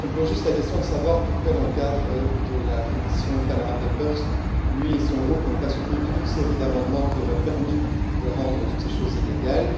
Je me pose juste la question de savoir pourquoi, dans le cadre de la commission Panama Papers, lui et son groupe n'ont pas soutenu toute une série d'amendements qui auraient permis de rendre toutes ces choses illégales?